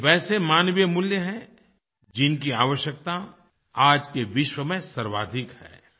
यह वैसे मानवीय मूल्य हैं जिनकी आवश्यकता आज के विश्व में सर्वाधिक है